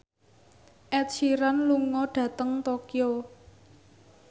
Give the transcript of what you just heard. Ed Sheeran lunga dhateng Tokyo